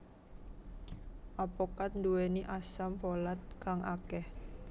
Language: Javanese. Apokat duweni asam folat kang akeh